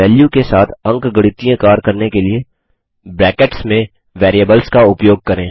value के साथ अंकगणितीय कार्य करने के लिए ब्रैकेट्स में बेरिएबल्स का उपयोग करें